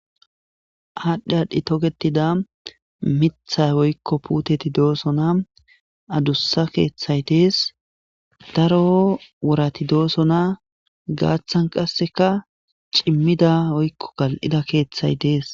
Aadhdhi aadhdhi togetida mithay woykko puuteti doosona adussa keeththay dees daro worati dooso na gaaththan qasseka cimmida woykko gal'ida keeththay dees.